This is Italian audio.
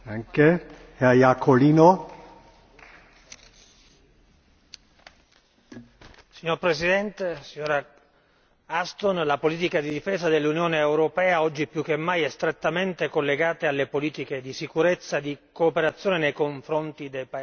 Signor Presidente, signora Ashton, la politica di difesa dell'Unione europea oggi è più che mai strettamente collegata alle politiche di sicurezza e di cooperazione nei confronti dei paesi terzi. Oggi potremmo forse in qualche misura affermare che il rischio di bombardamento appare